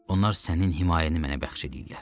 Onlar sənin himayəni mənə bəxş edirlər.